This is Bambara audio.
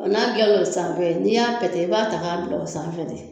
Ɔ n'a dilan no san n'i y'a pɛtɛ i b'a ta k'a bila o sanfɛ de.